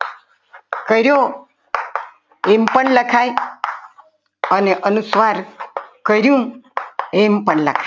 કર્યો એમ પણ લખાય અને અનુસ્વાર કર્યું એમ પણ લખાય.